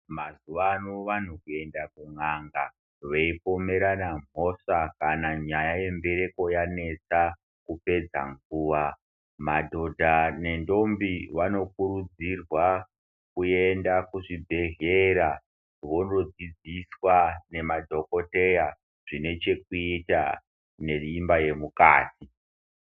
Mazuvano vanhu kuenda kun'anga veipomerana mhosva kana nyaya yembereko yanesa kupedza nguwa. Madhodha nendombi wanokurudzirwa kuenda kuzvibhedhlera vondodzidziswa ngemadhkoteya zvine chekuita neimba yemukati.